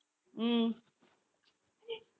உம்